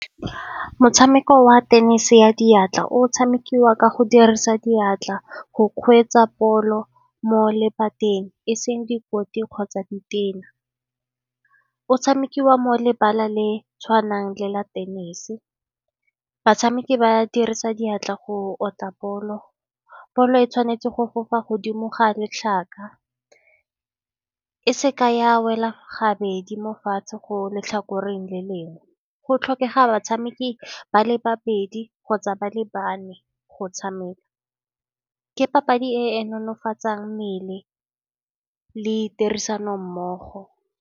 Motshameko wa tenese ya diatla o tshamekiwa ka go dirisa diatla, go kgweetsa poelo mo lephateng, e seng dikoti kgotsa ditena. O tshamekiwa mo lebala le tshwanang le la tenese, batshameki ba dirisa diatla go otla bolo, bolo e tshwanetse go fofa godimo ga letlhaka, e seka ya wela gabedi mo fatshe go letlhakoreng le lengwe. Go tlhokega batshameki ba le babedi kgotsa ba lebane go tshameka, ke papadi e e nolofatsa mmele le tirisano mmogo.